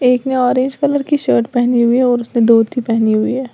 एक ने orange colour की शर्ट पहनी हुई और उसने धोती पहनी हुई है।